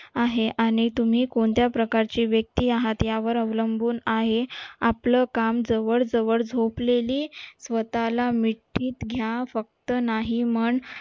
आहे आणि तुम्ही कोणत्या प्रकारचे व्यक्ती आहात यावर अवलंबून आहे आपलं काम जवळ जवळ झोपलेली स्वताला मिठीत घ्या फक्त नाही म्हण